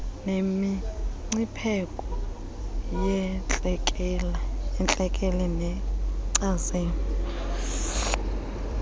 nemingcipheko yentlekele neenkcazelo